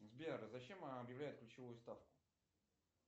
сбер зачем объявляют ключевую ставку